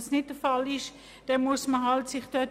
Ist dies nicht der Fall, muss man sich wehren.